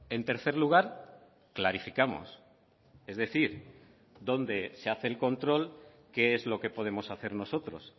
en tercer lugar clarificamos es decir dónde se hace el control qué es lo que podemos hacer nosotros